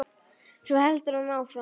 Svo heldur hann áfram